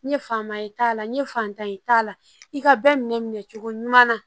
N ye fanba ye t'a la n ye fantan ye t'a la i ka bɛɛ minɛ minɛ minɛ cogo ɲuman na